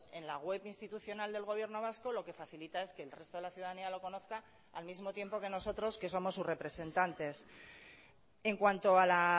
en la web institucional del gobierno vasco lo que facilita es que el resto de la ciudadanía lo conozca al mismo tiempo que nosotros que somos sus representantes en cuanto a la